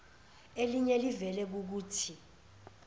eliye livele kukuthi